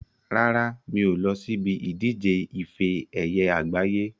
Rárá, mi ò lọ síbi ìdíje ife ẹyẹ àgbáyé.